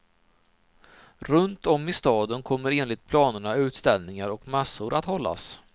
Runt om i staden kommer enligt planerna utställningar och mässor att hållas.